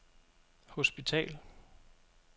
hospital